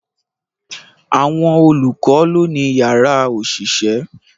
Àwọn olùkọ́ lọ́ ni yàrá òṣìṣẹ́